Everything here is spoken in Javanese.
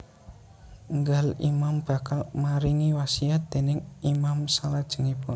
Nggal Imam bakal maringi wasiat déning Imam salajengipun